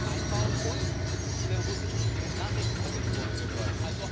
einbaut und den russischen Nachrichtenagenturen gehört.